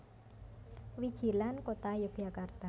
Wijilan Kota Yogyakarta